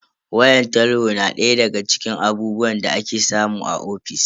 Wayan talho na daya daga cikin abubuwan da ake samu a ofis.